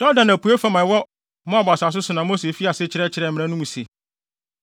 Yordan apuei fam a ɛwɔ Moab asase so na Mose fii ase kyerɛkyerɛɛ mmara no mu se: